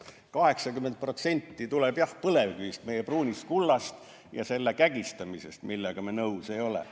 80% tuleb jah, põlevkivist, meie pruunist kullast ja selle kägistamisest, millega me nõus ei ole.